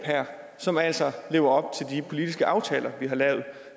som altså lever op til de politiske aftaler vi har lavet